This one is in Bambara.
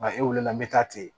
e wulila n bɛ taa ten